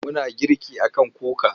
Muna girki a kan kuka.